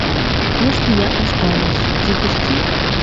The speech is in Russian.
если я останусь запусти